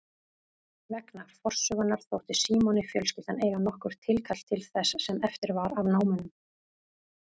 Vegna forsögunnar þótti Símoni fjölskyldan eiga nokkurt tilkall til þess sem eftir var af námunum.